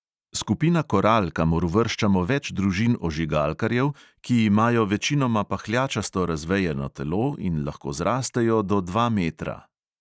Skupina koral, kamor uvrščamo več družin ožigalkarjev, ki imajo večinoma pahljačasto razvejeno telo in lahko zrastejo do dva metra.